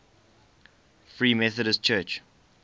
free methodist church